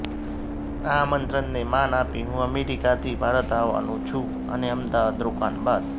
આ આમંત્રણને માન આપી હું અમેરિકાથી ભારત આવવાનો છું અને અમદાવાદ રોકાણ બાદ